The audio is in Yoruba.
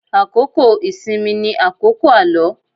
Àkókò ìsinmi ni àkókò àlọ́.